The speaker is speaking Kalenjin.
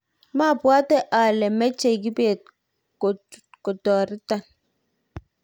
mabwoti ale mechei Kibet koturotan